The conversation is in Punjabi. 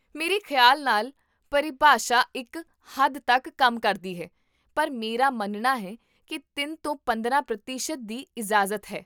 ਮੇਰੇ ਖਿਆਲ ਨਾਲ ਪਰਿਭਾਸ਼ਾ ਇੱਕ ਹੱਦ ਤੱਕ ਕੰਮ ਕਰਦੀ ਹੈ, ਪਰ ਮੇਰਾ ਮੰਨਣਾ ਹੈ ਕਿ ਤਿੰਨ ਤੋਂ ਪੰਦਰਾਂ ਪ੍ਰਤੀਸ਼ਤ ਦੀ ਇਜਾਜ਼ਤ ਹੈ